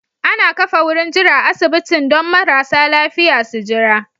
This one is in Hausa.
Ana ƙafa wurin jira a asibitin don marasa lafiƴa su Jira